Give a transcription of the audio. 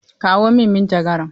Kawo min manjagara!